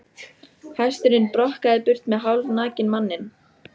Hesturinn brokkaði burt með hálfnakinn manninn.